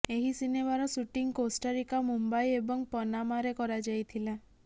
ଏହି ସିନେମାର shooting Costa Rica Mumbai ଏବଂ ପନାମାରେ କରାଯାଇଥିଲା